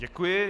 Děkuji.